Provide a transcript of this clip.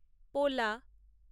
পোলা